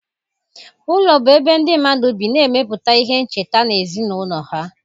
Ụlọ bụ ebe ndị mmadụ bi na-emepụta ihe ncheta na ezinụlọ ha